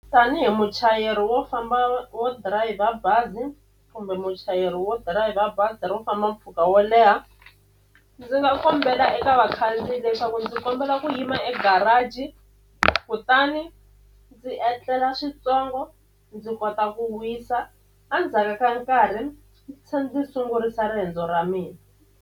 Tanihi muchayeri wo famba wo dirayivha bazi kumbe muchayeri wo dirayivha bazi ro famba mpfhuka wo leha ndzi nga kombela eka vakhandziyi leswaku ndzi kombela ku yini yima egarage kutani ndzi endlela swintsongo ndzi kota ku wisa a ndzhaka ka nkarhi se ndzi sungurisa riendzo ra mina.